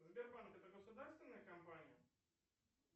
сбербанк это государственная компания